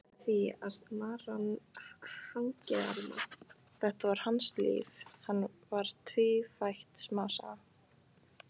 Þetta var hans líf, hann var tvífætt smásaga.